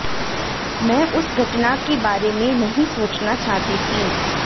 मैं उस घटना के बारे में नहीं सोचना चाहती थी